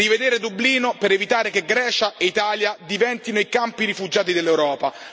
Rivedere Dublino, per evitare che Grecia e Italia diventino i campi rifugiati dell'Europa.